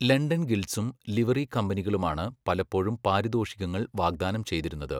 London ഗിൽഡ്സും livery കമ്പനികളുമാണ് പലപ്പോഴും പാരിതോഷികങ്ങൾ വാഗ്ദാനം ചെയ്തിരുന്നത്.